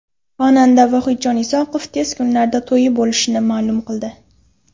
Xonanda Vohidjon Isoqov tez kunlarda to‘yi bo‘lishini ma’lum qildi.